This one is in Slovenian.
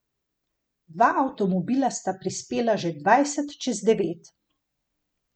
Dva avtomobila sta prispela že dvajset čez devet.